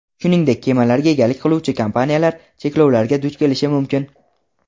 shuningdek kemalarga egalik qiluvchi kompaniyalar cheklovlarga duch kelishi mumkin.